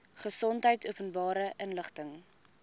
gesondheid openbare inligting